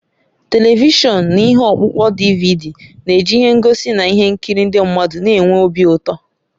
Televishọn na ihe ọkpụkpọ DiViDi na-eji ihe ngosi na ihe nkiri ndị mmadụ na-enwe obi ụtọ.